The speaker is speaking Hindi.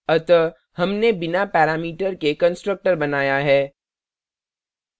अतः हमने बिना पैरामीटर के constructor बनाया है